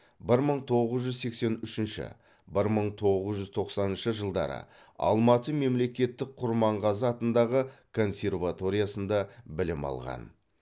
бір мың тоғыз жүз сексен үшінші бір мың тоғыз жүз тоқсаныншы жылдары алматы мемлекеттік құрманғазы атындағы консерваториясында білім алған